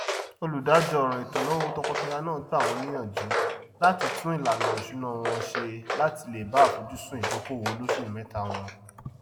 olùdájọọràn ètòínáwó tọkọtaya náà gbà wọn níyànjú láti tún ìlànà isúná wọn ṣe láti lè bá àfojúsùn ìdókòwò olósùméta wọn